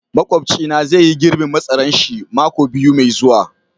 makwapci na zai yi girbin masaran shi mako biyu Mai zuwa.